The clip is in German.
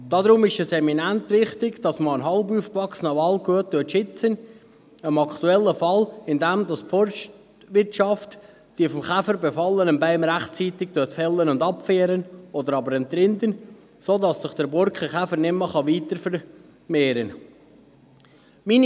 Deshalb ist es eminent wichtig, dass man einen halb aufgewachsenen Wald gut schützt, im aktuellen Fall, indem die Forstwirtschaft die vom Käfer befallenen Bäume rechtzeitig fällt und abführt oder aber entrindet, sodass sich der Borkenkäfer nicht weiter vermehren kann.